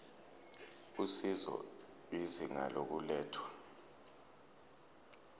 usizo izinga lokulethwa